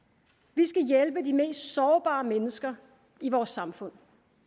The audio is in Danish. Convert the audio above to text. vi skal hjælpe de mest sårbare mennesker i vores samfund